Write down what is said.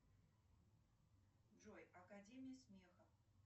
джой академия смеха